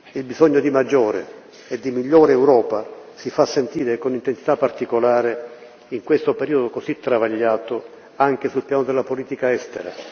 Il bisogno di maggiore e di migliore Europa si fa sentire con intensità particolare, in questo periodo così travagliato, anche sul piano della politica estera.